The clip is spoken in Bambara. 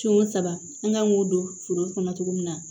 Sin o saba an kan k'o don foro kɔnɔ cogo min na